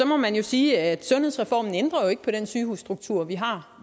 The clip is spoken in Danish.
må man sige at sundhedsreformen jo ikke ændrer på den sygehusstruktur vi har